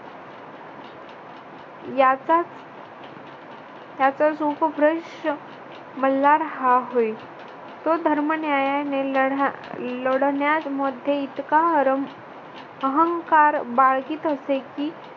याचाच याचाच उपप्रश्न मल्हार हा होय. तो धर्म न्यायानेलढा लढण्यामध्ये इतका अहंकार बाळगीत असे की